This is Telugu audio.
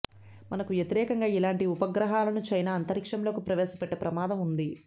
మనకు వ్యతిరేకంగా ఇలాంటి ఉపగ్రహాలను చైనా అంతరిక్షంలోకి ప్రవేశపెట్టే ప్రమాదం ఉంది